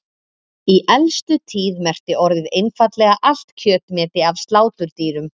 Í elstu tíð merkti orðið einfaldlega allt kjötmeti af sláturdýrum.